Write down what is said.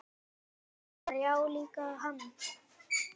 Gunnar: Já líka hann